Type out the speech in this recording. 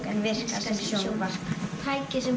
en virkar sem sjónvarp tæki sem